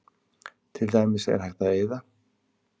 Til dæmis er hægt að eyða